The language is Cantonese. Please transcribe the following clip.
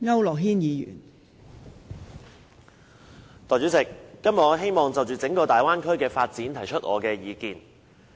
代理主席，今天我希望就整個粵港澳大灣區的發展提出意見。